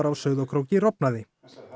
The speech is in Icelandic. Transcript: á Sauðárkróki rofnaði